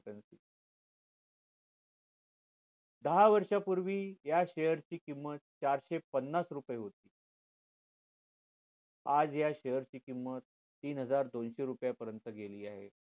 दहा वर्षापूर्वी या share ची किंमत चारशे पन्नास रुपये होती आज या share ची किंमत तीन हजार दोनशे रुपये पर्यंत गेली आहे